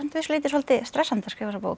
leyti svolítið stressandi að skrifa þessa bók